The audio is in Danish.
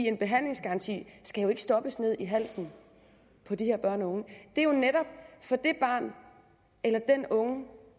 en behandlingsgaranti skal jo ikke stoppes ned i halsen på de her børn og unge for det barn eller den unge